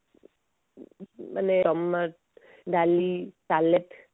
ମାନେ ଡାଲି ସାଲାଡ